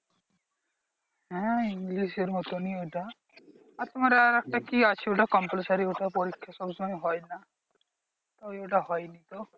হ্যাঁ ইংলিশের মতনই এটা আর তোমার আরেকটা কি আছে ওইটা compulsory ওটার পরীক্ষা সবসময় হয় না। ওই ওটা হয়নি তো